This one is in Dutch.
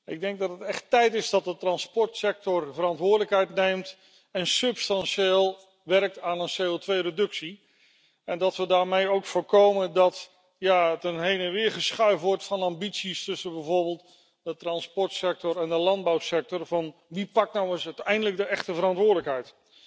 Ik denk dat het echt tijd is dat de transportsector verantwoordelijkheid neemt en substantieel werkt aan een CO2 reductie en dat we daarmee ook voorkomen dat er heen en weer wordt geschoven met ambities tussen bijvoorbeeld de transportsector en de landbouwsector, zo van wie pakt nou eens eindelijk de echte verantwoordelijkheid?